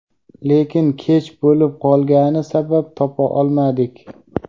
Lekin kech bo‘lib qolgani sabab topa olmadik.